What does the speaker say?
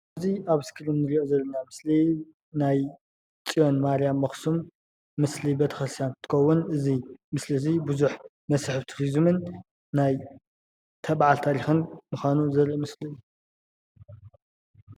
እዚ ኣብ እስክሪን ንሪኦ ዘለና ምስሊ ናይ ፅዮን ማርያም ኣኽሱም ምስሊ ቤተ-ክርስትያን እንትትከውን እዚ ምስሊ እዚ ቡዙሕ መስሕብ ቱሪዝምን ናይታበዓል ታሪኽን ምዃኑ ዘርኢ ምስሊ እዩ፡፡